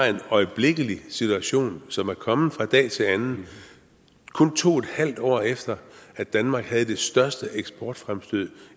en øjeblikkelig situation som er kommet fra dag til anden kun to en halv år efter at danmark havde det største eksportfremstød